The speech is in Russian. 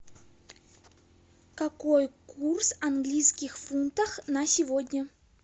какой курс английских фунтов на сегодня